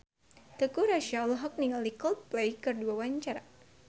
Teuku Rassya olohok ningali Coldplay keur diwawancara